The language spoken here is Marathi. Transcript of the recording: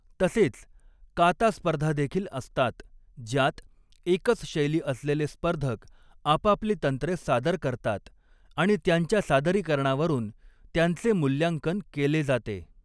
तसेच 'काता' स्पर्धा देखील असतात, ज्यात एकच शैली असलेले स्पर्धक आपापली तंत्रे सादर करतात आणि त्यांच्या सादरीकरणावरून त्यांचे मूल्यांकन केले जाते.